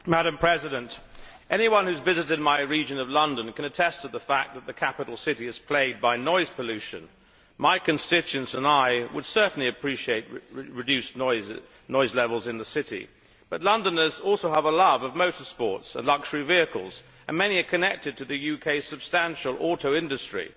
Mr President, anyone who has visited my region of London can attest to the fact that the capital city is plagued by noise pollution. My constituents and I would certainly appreciate reduced noise levels in the city, but Londoners also have a love of motor sports and luxury vehicles and many are connected to the UK's substantial auto industry.